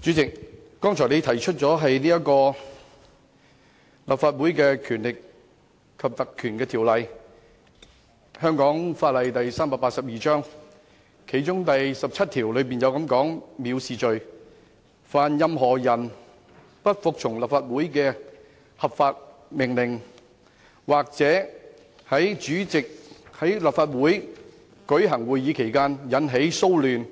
主席剛才提及《立法會條例》，該條例第17條對藐視罪作出規定，訂明凡任何人不服務從立法會的合法命令，或者在立法會舉行會議時引起擾亂，